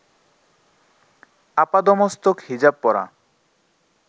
আপাদমস্তক হিজাব পরা